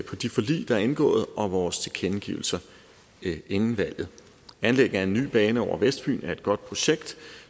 de forlig der er indgået og vores tilkendegivelser inden valget anlægget af en ny bane over vestfyn er et godt projekt